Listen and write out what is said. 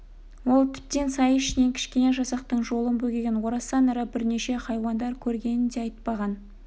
ол тіптен сай ішінен кішкене жасақтың жолын бөгеген орасан ірі бірнеше хайуандар көргенін де айтпаған